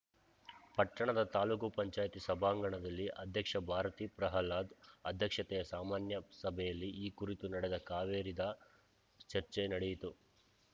ಪಟ್ಟಣದ ತಾಲೂಕು ಪಂಚಾಯಿತಿ ಸಭಾಂಗಣದಲ್ಲಿ ಅಧ್ಯಕ್ಷೆ ಭಾರತಿ ಪ್ರಹ್ಲಾದ್‌ ಅಧ್ಯಕ್ಷತೆಯ ಸಾಮಾನ್ಯ ಸಭೆಯಲ್ಲಿ ಈ ಕುರಿತು ನಡೆದ ಕಾವೇರಿದ ಚರ್ಚೆ ನಡೆಯಿತು